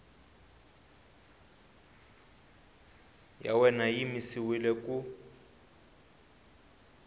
ya wena yi yimisiwile ku